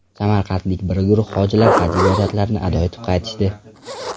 Samarqandlik bir guruh hojilar Haj ibodatlarini ado etib qaytishdi.